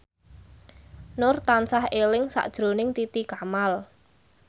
Nur tansah eling sakjroning Titi Kamal